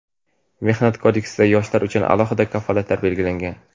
Mehnat kodeksida yoshlar uchun alohida kafolatlar belgilangan.